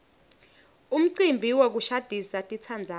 umcimbi wokushadisa titsandzani